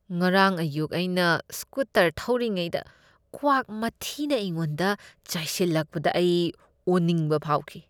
ꯉꯔꯥꯡ ꯑꯌꯨꯛ ꯑꯩꯅ ꯁ꯭ꯀꯨꯇꯔ ꯊꯧꯔꯤꯉꯩꯗ ꯀ꯭ꯋꯥꯛ ꯃꯊꯤꯅ ꯑꯩꯉꯣꯟꯗ ꯆꯥꯏꯁꯤꯜꯂꯛꯄꯗ ꯑꯩ ꯑꯣꯅꯤꯡꯕ ꯐꯥꯎꯈꯤ꯫